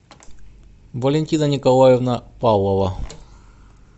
валентина николаевна павлова